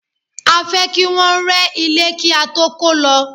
A fẹ́ kí Wọ́n rẹ́ ilé kí á tó kó lọ.